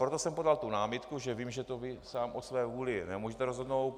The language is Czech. Proto jsem podal tu námitku, že vím, že vy to sám o své vůli nemůžete rozhodnout.